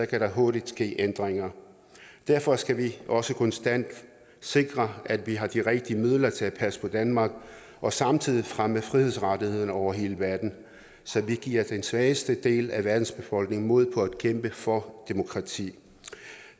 kan der hurtigt ske ændringer derfor skal vi også konstant sikre at vi har de rigtige midler til at passe på danmark og samtidig fremme frihedsrettighederne over hele verden så vi giver den svageste del af verdens befolkning mod på at kæmpe for demokrati